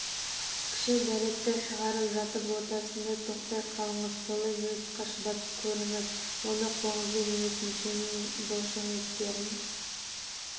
кіші дәретті шығарып жатып ортасында тоқтай қалыңыз солай минутқа шыдап көріңіз оны қолыңызбен емес мүшенің бұлшықеттерін